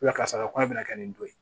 karisa ko a bɛna kɛ nin don ye